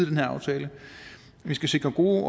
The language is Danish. her aftale vi skal sikre gode